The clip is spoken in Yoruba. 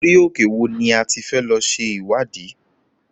Orí òkè wo ni a ti fẹ́ lọ ṣe ìwádìí?